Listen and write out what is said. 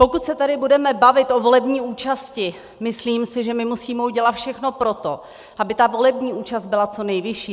Pokud se tady budeme bavit o volební účasti, myslím si, že my musíme udělat všechno pro to, aby volební účast byla co nejvyšší.